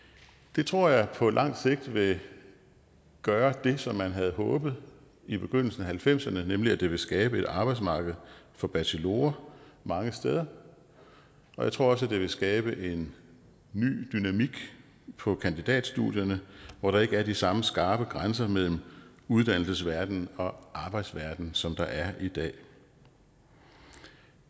det tror jeg på lang sigt vil gøre det som man havde håbet i begyndelsen af nitten halvfemserne nemlig at det vil skabe et arbejdsmarked for bachelorer mange steder og jeg tror også at det vil skabe en ny dynamik på kandidatstudierne hvor der ikke er de samme skarpe grænser mellem uddannelsesverdenen og arbejdsverdenen som der er i dag